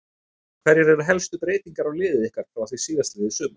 Hverjar eru helstu breytingar á liði ykkar frá því síðastliðið sumar?